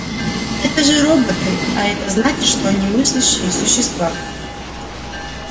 это же роботы а это значит что они мыслящие существа